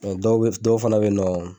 dɔw be yen dɔw fana be yen nɔn